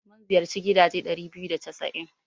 Mun ziyarci gidaje ɗari biyu da casa'in.